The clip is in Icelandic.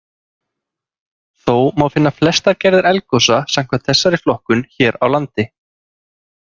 Þó má finna flestar gerðir eldgosa samkvæmt þessari flokkun hér á landi.